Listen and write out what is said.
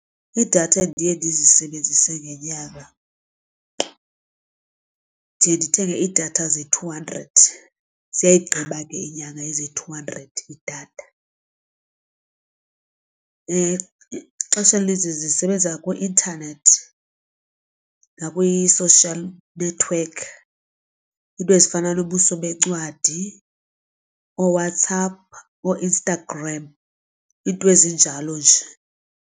Idatha endiye ndizisebenzise ngenyanga ndiye ndithenge idatha ze-two hundred ziyayigqiba ke inyanga eze-two hundred idatha. Ixesha elininzi zisebenza kwi-intanethi nakwii-social network iinto ezifana nobuso bencwadi ooWhatsApp ooInstagram iinto ezinjalo nje.